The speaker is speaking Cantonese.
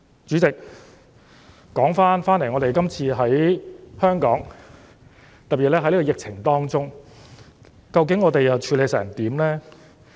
主席，說回香港，特別是今次疫情當中，究竟我們又處理得怎樣呢？